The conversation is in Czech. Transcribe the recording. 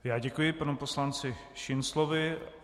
Já děkuji panu poslanci Šinclovi.